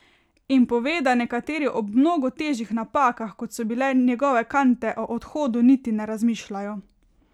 In pove, da nekateri ob mnogo težjih napakah, kot so bile njegove kante, o odhodu niti ne razmišljajo.